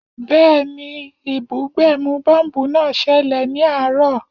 Bẹ́ẹ̀ni, ìbúgbẹ̀mù bọ́ḿbù náà ṣẹlẹ̀ ní àárọ̀